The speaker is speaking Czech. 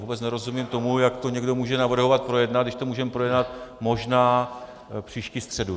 Vůbec nerozumím tomu, jak to někdo může navrhovat projednat, když to můžeme projednat možná příští středu.